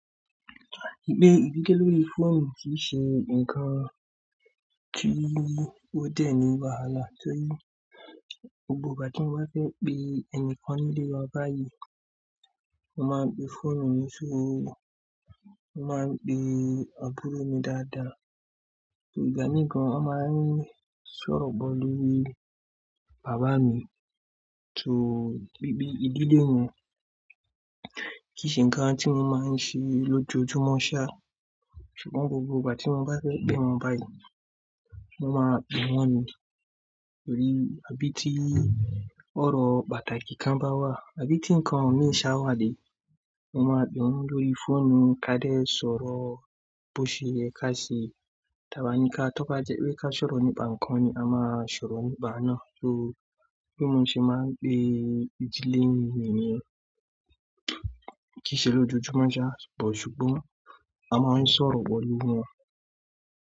Gbe ìdílé lórí fóònù kìí ṣe ǹkan kí ó dẹ̀ ní wàhálà torí gbogbo ìgbà tí mo bá fẹ́ pé ẹni kan nínú ile wa báyìí, mo máa ń gbé fóònù mi sọ́rọ́, mo máa ń pè àbúrò mi dáadáa. Torí gba nìkan a máa ń sọ̀rọ̀ pọ̀ lórí bàbá mi, torí bí i ìdílé wọn, kì í ṣe ǹkan tí mo máa ń ṣe lójoojúmọ́ sá, ṣùgbọ́n gbogbo ìgbà tí mo bá fẹ́ pé wọn báyìí, mo máa ń pè wọ́n ni, torí àbí tí ọ̀rọ̀ pàtàkì kan bá wà, àbí tí ǹkan òní iṣẹ́ wa le, mo máa ń pè wọ́n lórí fóònù ká dé è sọ̀rọ̀ bó ṣe yẹ ká ṣe. Taba nìkan, tọ́ka jẹ́ pé ká sọ̀rọ̀ nípa ǹkan ni a máa sọ̀rọ̀ nípa náà. Torí bí mo ṣe máa ń pè ìdílé mi wèrè kí í ṣe lójoojúmọ́ sá, ṣùgbọ́n a máa ń sọ̀rọ̀ pọ̀ lórí wọ́n.